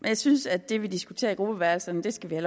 jeg synes at det vi diskuterer i gruppeværelserne skal vi